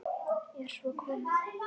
Er svo komið?